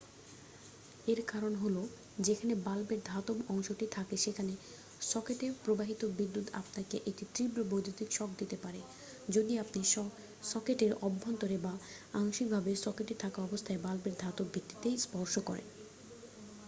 এর কারণ হ'ল যেখানে বাল্বের ধাতব অংশটি থাকে সেখানে সকেটে প্রবাহিত বিদ্যুৎ আপনাকে একটি তীব্র বৈদ্যুতিক শক দিতে পারে যদি আপনি সকেটের অভ্যন্তরে বা আংশিকভাবে সকেটে থাকা অবস্থায় বাল্বের ধাতব ভিত্তিতে স্পর্শ করেন